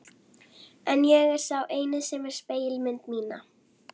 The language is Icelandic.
En ég er sá eini sem sér spegilmynd mína.